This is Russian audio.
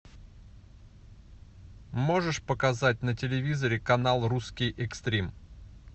можешь показать на телевизоре канал русский экстрим